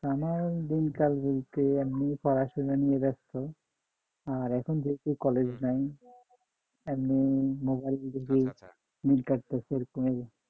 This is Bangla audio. আমার দিনকাল বলতে এমনি পড়াশোনা নিয়ে ব্যস্ত আহ এখন বেশি কলেজ নাই এমনিই মোবাইল দিয়ে দিন কাটছে